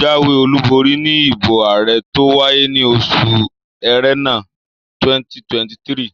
jáwé olùborí níbi ìbò ààrẹ tó wáyé ní oṣù Ẹrẹ́nà 2023